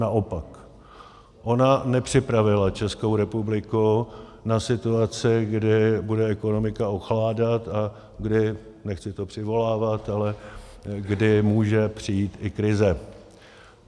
Naopak, ona nepřipravila Českou republiku na situaci, kdy bude ekonomika ochládat a kdy, nechci to přivolávat, ale kdy může přijít i krize.